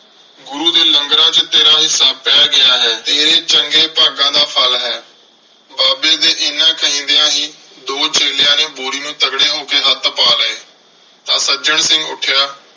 ਗੁਰੂ ਦੇ ਲੰਗਰਾਂ ਚ ਤੇਰਾ ਹਿੱਸਾ ਪੈ ਗਿਆ ਹੈ। ਤੇਰੇ ਚੰਗੇ ਭਾਗਾਂ ਦਾ ਫ਼ਲ ਹੈ। ਬਾਬੇ ਦੇ ਐਨਾ ਕਹਿੰਦਿਆਂ ਹੀ ਦੋ ਚੇਲਿਆਂ ਨੇ ਬੋਰੀ ਨੂੰ ਤਗੜੇ ਹੋ ਕੇ ਹੱਥ ਪਾ ਲਏ। ਤਾਂ ਸੱਜਣ ਸਿੰਘ ਉੱਠਿਆ।